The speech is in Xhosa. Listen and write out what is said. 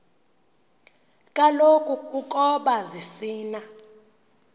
kaloku ukoba zisina